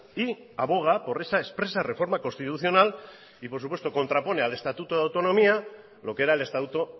y aboga por esa expresa reforma constitucional y por supuesto contrapone al estatuto de autonomía lo que era el estatuto